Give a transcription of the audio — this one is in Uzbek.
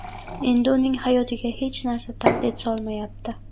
Endi uning hayotiga hech narsa tahdid solmayapti.